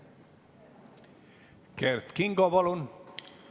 Kert Kingo, palun!